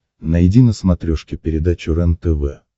найди на смотрешке передачу рентв